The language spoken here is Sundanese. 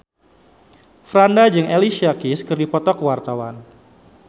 Franda jeung Alicia Keys keur dipoto ku wartawan